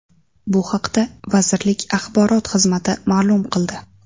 Bu haqda vazirlik axborot xizmati ma’lum qildi.